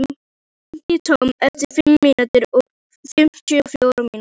Susie, hringdu í Tom eftir fimmtíu og fjórar mínútur.